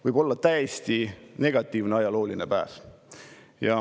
Võib olla täiesti negatiivne ajalooline päev.